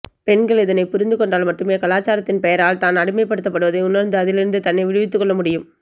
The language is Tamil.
பெண்கள் இதைப் புரிந்துகொண்டால் மட்டுமே கலாசாரத்தின் பெயரால் தான் அடிமைப்படுத்தப்படுவதை உணர்ந்து அதிலிருந்து தன்னை விடுவித்துக்கொள்ள முடியும்